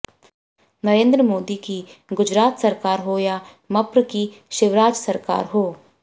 नरेन्द्र मोदी की गुजरात सरकार हो या मप्र की शिवराज सरकार हो